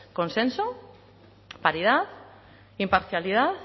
consenso paridad imparcialidad